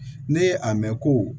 Ne ye a mɛn ko